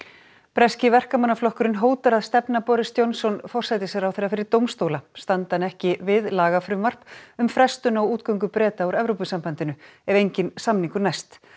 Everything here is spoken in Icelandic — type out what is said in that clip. breski Verkamannaflokkurinn hótar að stefna Boris Johnson forsætisráðherra fyrir dómstóla standi hann ekki við lagafrumvarp um frestun á útgöngu Breta úr Evrópusambandinu ef enginn samningur næst